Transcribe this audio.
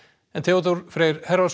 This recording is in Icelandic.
en Theodór Freyr